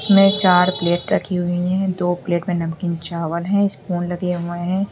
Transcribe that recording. में यहां चार प्लेट रखी हुई है दो प्लेट में नमकीन चावल है स्पून लगे हुएं हैं।